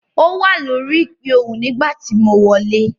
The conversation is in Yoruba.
Ó wà lórí ìpè ohùn nígbà tí mo wọlé.